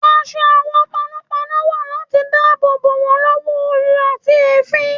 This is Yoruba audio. Aṣọ àwọn panọ́panọ́ wà láti dáàbò bò wọ́n lọ́wọ́ oru àti èéfín.